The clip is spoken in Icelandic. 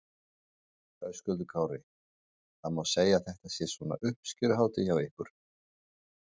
Höskuldur Kári: Það má segja að þetta sé svona uppskeruhátíð hjá ykkur?